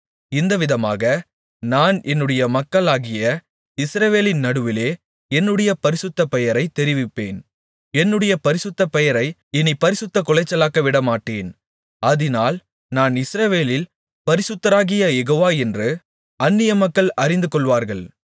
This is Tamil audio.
இந்தவிதமாக நான் என்னுடைய மக்களாகிய இஸ்ரவேலின் நடுவிலே என்னுடைய பரிசுத்த பெயரைத் தெரிவிப்பேன் என்னுடைய பரிசுத்த பெயரை இனிப் பரிசுத்தக் குலைச்சலாக்கவிடமாட்டேன் அதினால் நான் இஸ்ரவேலில் பரிசுத்தராகிய யெகோவா என்று அந்நியமக்கள் அறிந்துகொள்வார்கள்